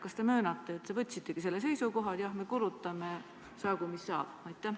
Kas te möönate, et te võtsitegi selle seisukoha, et jah, me kulutame, saagu mis saab?